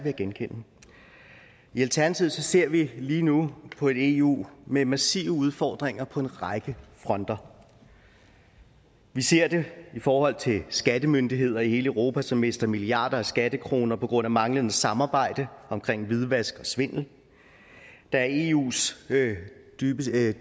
at genkende i alternativet ser vi lige nu på et eu med massive udfordringer på en række fronter vi ser det i forhold til skattemyndigheder i hele europa som mister milliarder af skattekroner på grund af manglende samarbejde om hvidvask og svindel der er eus dybest